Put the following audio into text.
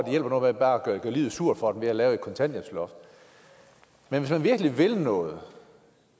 hjælper noget bare at gøre livet surt for dem ved at lave et kontanthjælpsloft men hvis man virkelig ville noget